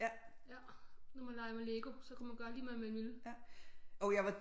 Ja når man legede med LEGO så kunne man gøre lige hvad man ville